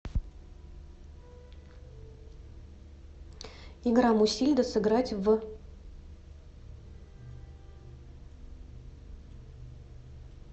игра мусильда сыграть в